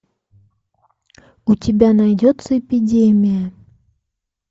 у тебя найдется эпидемия